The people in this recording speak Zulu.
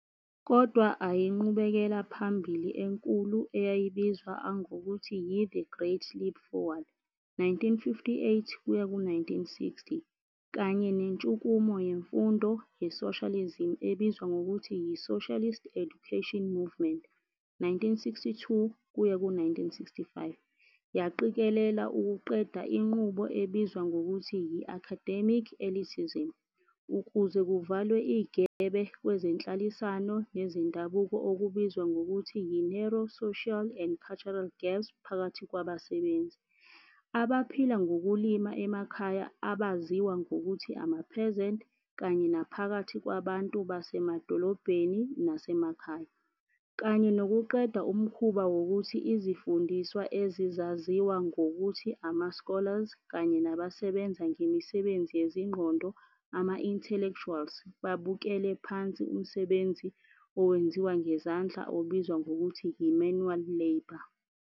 Kodw ainqubekela phambili enkulu eyayibizws angokuthi yi-The Great Leap Forward, 1958-60, kanye nentshukumo yemfundo yesoshalizimi ebizwa ngokuthi yi-Socialist Education Movement, 1962-65, yaqikelela ukuqeda inqubo ebizwa ngokuthi yi-academic elitism, ukuze kuvalwe igebe kwezenhlalisano nezendabuko okubizwa ngokuthi yi-narrow social and cultural gaps phakathi kwabasebenzi, abaphila ngokulima emakhaya abaziwa ngokuthi ama-peasant kanye naphakathi kwabantu basemadolobheni nasemakhaya, kanye nokuqeda umkhuba wokuthi izifundiswa ezizaziwa ngokuthi ama- scholars kanye nabasebenza ngemisebenzi yezingqondo ama-intellectuals babukele phansi umsebenzi owenziwa ngezandla obizwa ngokuthi yi-manual labor.